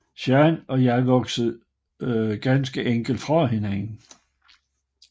Zayn og jeg voksede ganske enkelt fra hinanden